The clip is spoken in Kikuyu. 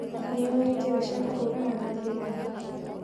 Nĩũĩ njĩra cia kũhũrana na mĩrimũ.